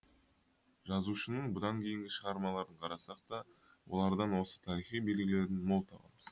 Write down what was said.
жазушының бұдан кейінгі шығармаларын қарасақ та олардан осы тарихи белгілерін мол табамыз